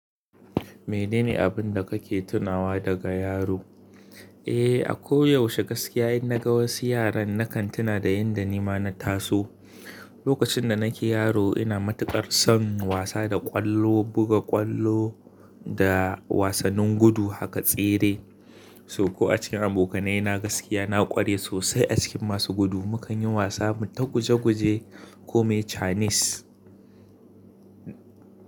Me nene abun da kake tunawa daga yaro? Eh, a ko yaushe gaskiya in naga wasu yaran nakan tuna da yanda nima na taso. Lokacin da nake yaro ina matuƙar son wasa da ƙwallo, buga ƙwallo da wasannin gudu haka tsere. Sauko a cikin abokanai na gaskiya na ƙware sosai a cikin masu gudu. Mu ka yin wasa mu ta guje guje ko me chinese.